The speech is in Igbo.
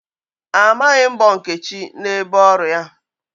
Amaghị mbọ Nkechi n'ebe ọrụ ya.